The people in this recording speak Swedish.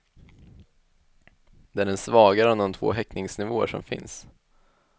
Det är den svagare av de två häktningsnivåer som finns.